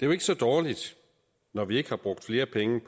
jo ikke så dårligt når vi ikke har brugt flere penge